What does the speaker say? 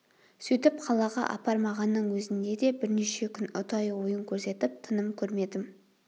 сөйтіп қалаға апармағанның өзінде де бірнеше күн ұдайы ойын көрсетіп тыным көрмедім